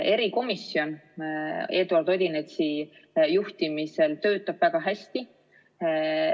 Erikomisjon Eduard Odinetsi juhtimisel töötab väga hästi.